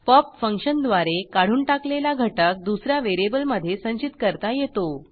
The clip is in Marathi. पॉप फंक्शनद्वारे काढून टाकलेला घटक दुस या व्हेरिएबलमधे संचित करता येतो